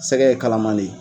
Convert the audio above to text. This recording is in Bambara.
Sɛgɛ ye kalaman de ye.